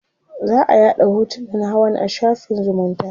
za'a yaɗa hotunan hawan a shafin zumunta